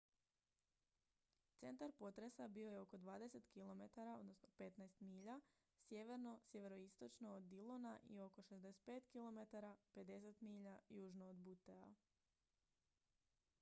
centar potresa bio je oko 20 km 15 milja sjeverno/sjeveroistočno od dillona i oko 65 km 50 milja južno od buttea